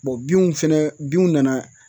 binw fɛnɛ binw nana